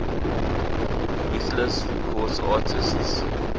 ruthless records artists